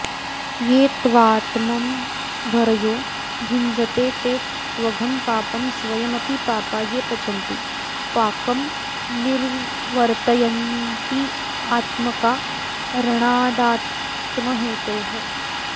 ये त्वात्मम्भरयो भुञ्जते ते त्वघं पापं स्वयमपि पापा ये पचन्ति पाकंनिर्वर्तयन्त्यात्मकारणादात्महेतोः